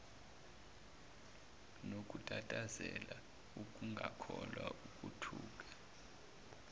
nokutatazela ukungakholwa ukuthuka